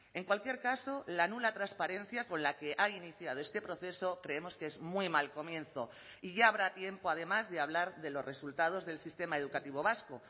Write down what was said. en cualquier caso la nula transparencia con la que ha iniciado este proceso creemos que es muy mal comienzo y ya habrá tiempo además de hablar de los resultados del sistema educativo vasco